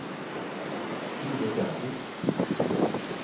Frode Stensrud